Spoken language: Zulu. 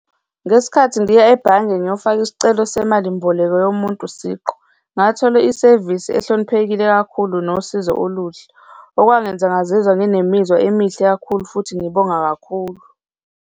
Ngesikhathi ndiya ebhange ngiyofaka isicelo semali mboleko yomuntu siqu, ngathola isevisi ehloniphekile kakhulu nosizo oluhle, okwangenza ngazizwa nginemizwa emihle kakhulu futhi ngibonga kakhulu.